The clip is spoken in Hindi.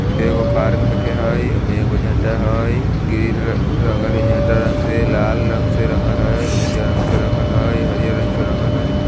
एगो पार्क में के है उमे एगो झंडा हैई ग्रीन रंगल हैई झंडा रंग से लाल रंग से रंगल हैई उज्जर रंग से रंगल हई हरियर रंग से रंगल हई।